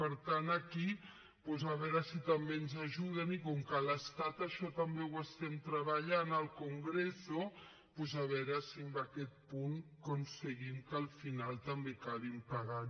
per tant aquí doncs a veure si també ens ajuden i com que a l’estat això també ho estem treballant al congreso doncs a veure si amb aquest punt aconseguim que al final també acabin pagant